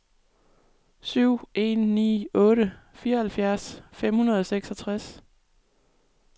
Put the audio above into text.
syv en ni otte fireoghalvfjerds fem hundrede og seksogtres